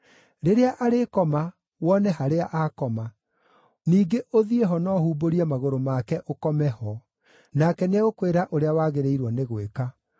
Rĩrĩa arĩkoma, wone harĩa akoma. Ningĩ ũthiĩ ho na ũhumbũrie magũrũ make, ũkome ho. Nake nĩegũkwĩra ũrĩa wagĩrĩirwo nĩ gwĩka.”